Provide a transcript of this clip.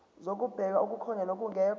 zokubheka okukhona nokungekho